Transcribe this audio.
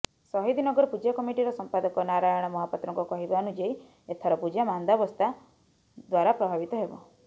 ସହିଦନଗର ପୂଜା କମିଟିର ସମ୍ପାଦକ ନାରାୟଣ ମହାପାତ୍ରଙ୍କ କହିବାନୁଯାୟୀ ଏଥର ପୂଜା ମାନ୍ଦାବସ୍ଥା ଦ୍ବାରା ପ୍ରଭାବିତ ହେବ